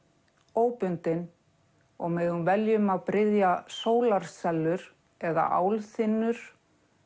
óbundin og megum velja um að bryðja eða álþynnur